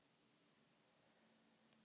Rannsókn og úrskurður